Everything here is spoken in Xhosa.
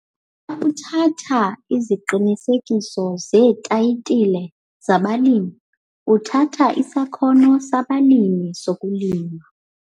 'Xa uthatha iziqinisekiso zeethayitile zabalimi uthatha isakhono sabalimi sokulima.'